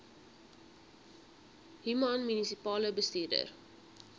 human munisipale bestuurder